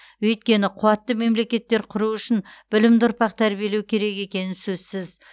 өйткені қуатты мемлекеттер құру үшін білімді ұрпақ тәрбиелеу керек екені сөзсіз